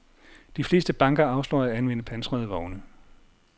De fleste banker afslår at anvende pansrede vogne.